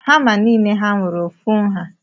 Hama nile ha nwere ofu nha?